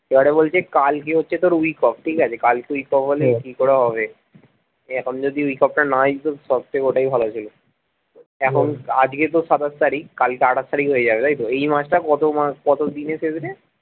এবারে বলছে কালকে হচ্ছে তোর week off ঠিকাছে কালকে week off হলে কি করে হবে এখন যদি week off টা নাই দিতো সবথেকে ওটাই ভালো ছিল এখন আজকে তো সাতাশ তারিখ কালকে আঠাশ তারিখ হয়ে যাবে তাইতো এই মাস টা কতো মাস কতো দিনে শেষ রে?